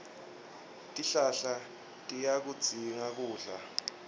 tihlahla tiyakudzinga kudla